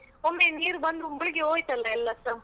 ಒಮ್ಮೆ ನೀರು ಬಂದು ಮುಳುಗಿ ಹೋಯ್ತಲ್ಲ ಎಲ್ಲಾಸ.